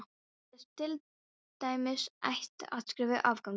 Bréfið er til dæmis hægt að skrifa í áföngum.